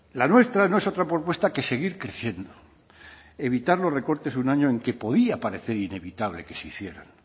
la nuestra no es otra propuesta que seguir creciendo evitar los recortes un año en que podía parecer inevitable que se hicieran